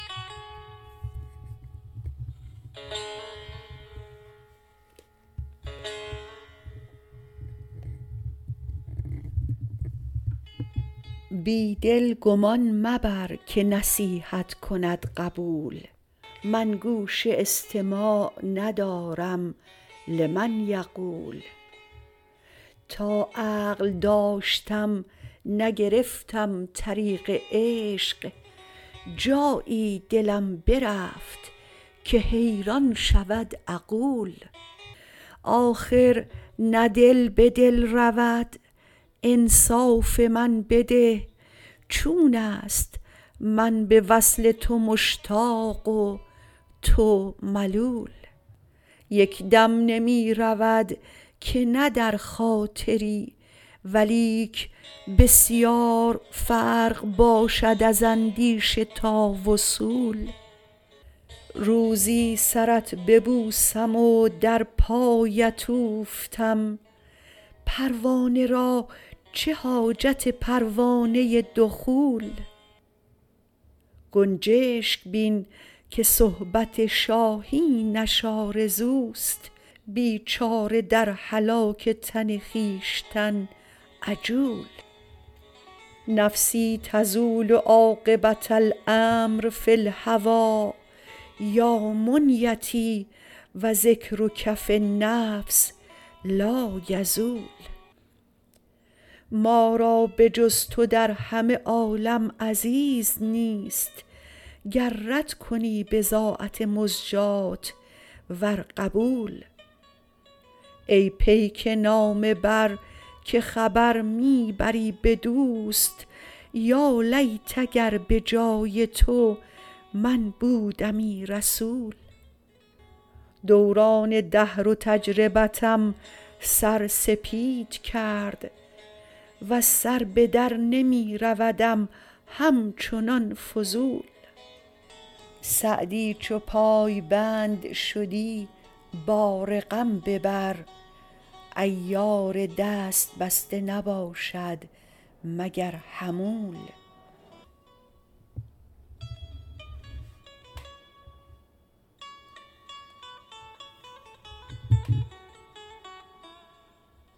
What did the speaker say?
بی دل گمان مبر که نصیحت کند قبول من گوش استماع ندارم لمن یقول تا عقل داشتم نگرفتم طریق عشق جایی دلم برفت که حیران شود عقول آخر نه دل به دل رود انصاف من بده چون است من به وصل تو مشتاق و تو ملول یک دم نمی رود که نه در خاطری ولیک بسیار فرق باشد از اندیشه تا وصول روزی سرت ببوسم و در پایت اوفتم پروانه را چه حاجت پروانه دخول گنجشک بین که صحبت شاهینش آرزوست بیچاره در هلاک تن خویشتن عجول نفسی تزول عاقبة الأمر فی الهوی یا منیتی و ذکرک فی النفس لایزول ما را به جز تو در همه عالم عزیز نیست گر رد کنی بضاعت مزجاة ور قبول ای پیک نامه بر که خبر می بری به دوست یالیت اگر به جای تو من بودمی رسول دوران دهر و تجربتم سر سپید کرد وز سر به در نمی رودم همچنان فضول سعدی چو پایبند شدی بار غم ببر عیار دست بسته نباشد مگر حمول